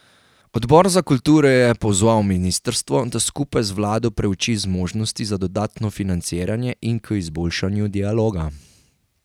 Odbor za kulturo je pozval ministrstvo, da skupaj z vlado preuči zmožnosti za dodatno financiranje in k izboljšanju dialoga.